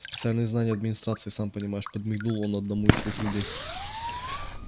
специальные знания администрации сам понимаешь подмигнул он одному из своих людей